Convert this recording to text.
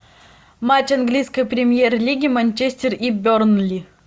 матч английской премьер лиги манчестер и бернли